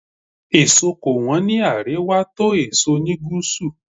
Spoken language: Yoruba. Fruits are cheaper in the north than in the south.